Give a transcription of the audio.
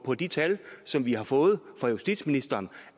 på de tal som vi har fået fra justitsministeren